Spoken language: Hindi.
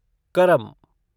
करम